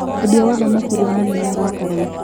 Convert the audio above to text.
Mwendia wa thamaki iria nini nĩarakara.